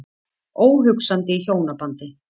Óhugsandi í hjónabandi.